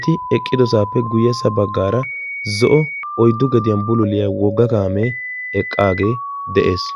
Eti eqqidosaappe guyyessa baggaara zo'o oyddu gediyan bululiya wogga kaamee eqqaagee de'ees.